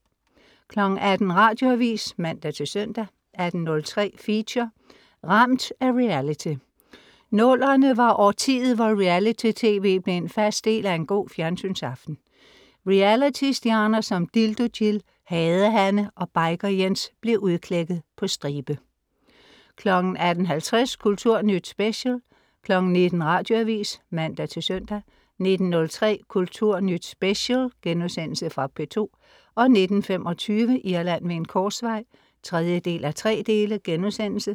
18.00 Radioavis (man-søn) 18.03 Feature: Ramt af reality. Nullerne var årtiet, hvor reality-TV blev en fast del af en god fjernsynaften. Realitystjerner som Dildo-Jill, Hade-Hanne og Biker-Jens blev udklækket på stribe 18.50 Kulturnyt Special 19.00 Radioavis (man-søn) 19.03 Kulturnyt Special* Fra P2 19.25 Irland ved en korsvej 3:3*